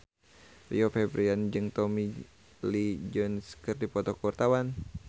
Rio Febrian jeung Tommy Lee Jones keur dipoto ku wartawan